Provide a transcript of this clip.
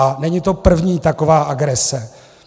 A není to první taková agrese.